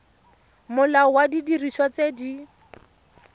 molao wa didiriswa tse di